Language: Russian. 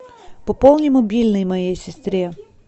пополни мобильный моей сестре